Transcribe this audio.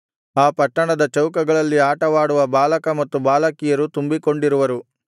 ಆ ಪಟ್ಟಣದ ಚೌಕಗಳಲ್ಲಿ ಆಟವಾಡುವ ಬಾಲಕ ಮತ್ತು ಬಾಲಕಿಯರು ತುಂಬಿಕೊಂಡಿರುವರು